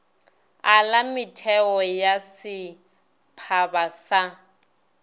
ala metheo ya setphaba sa